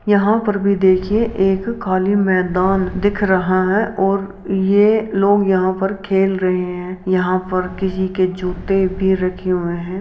यहाँ पर भी देखिए एक खाली मैदान दिख रहा है और ये लोग यहाँ पर खेल रहे हैं। यहाँ पर किसी के जुत्ते भी रखे हुए हैं।